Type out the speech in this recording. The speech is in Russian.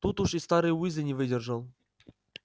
тут уж и старший уизли не выдержал